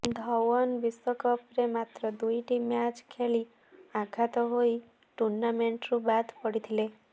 ଧୱନ୍ ବିଶ୍ୱକପରେ ମାତ୍ର ଦୁଇଟି ମ୍ୟାଚ୍ ଖେଳି ଆଘାତ ହୋଇ ଟୁର୍ଣ୍ଣାମେଣ୍ଟରୁ ବାଦ୍ ପଡ଼ିଥିଲେ